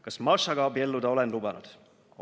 Kas Mašaga abielluda olen lubanud?